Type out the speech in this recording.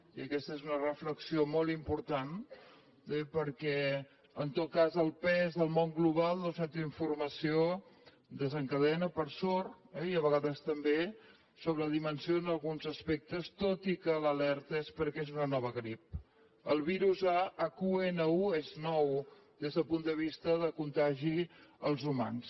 i aquesta és una reflexió molt important perquè en tot cas el pes al món global d’una certa informació desencadena per sort i a vegades també sobredimensiona alguns aspectes tot i que l’alerta és perquè és una nova grip el virus a h1n1 és nou des del punt de vista de contagi als humans